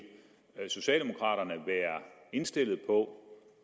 socialdemokraterne være indstillet på